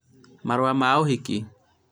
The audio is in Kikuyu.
marũa ma ũhĩki